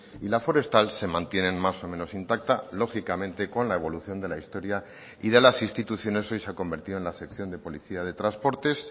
y la forestal se mantienen más o menos intacta lógicamente con la evolución de la historia y de las instituciones hoy se ha convertido en la sección de policía de transportes